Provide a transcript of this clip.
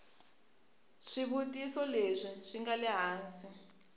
swivutiso leswi swi nga ehansi